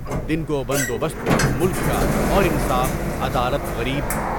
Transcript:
دن کو بندوبست ملک کا اور انصاف، عدالت غریب